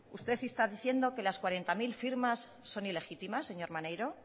usted está diciendo que las cuarenta mil firmas son ilegítimas señor maneiro